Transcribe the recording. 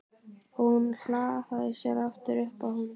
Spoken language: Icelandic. Hún hallaði sér aftur upp að honum.